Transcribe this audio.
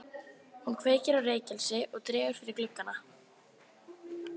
Hún kveikir á reykelsi og dregur fyrir gluggana.